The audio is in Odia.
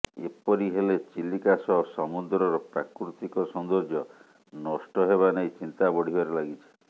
ଏପରି ହେଲେ ଚିଲିକା ସହ ସମୁଦ୍ରର ପ୍ରାକୃତିକ ସୌନ୍ଦର୍ଯ୍ୟ ନଷ୍ଟ ହେବାନେଇ ଚିନ୍ତା ବଢ଼ିବାରେ ଲାଗିଛି